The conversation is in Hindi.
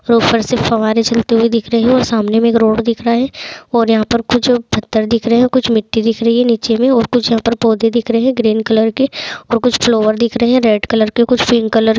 सोफर से फवारे चलते हुए दिख रहे और सामने में एक रोड दिख रहे और यहाँ पर कुछ पत्थर दिख रहे कुछ मिट्टी दिख रही है निचे में और कुछ यहां पर पौधे दिख रहे है ग्रीन कलर के और कुछ फ्लोवर दिख रहे है रेड कलर के कुछ पिंक कलर --